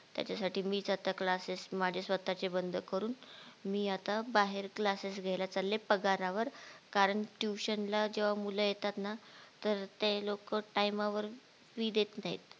त्याच्यासाठी मीच आता classes माझे स्वातचे बंद करून मी आता बाहेर classes घेयला चालले पगारावर कारण tuition ला जेव्हा मुल येतात ना तर ते लोक time वावर free देत नाहीत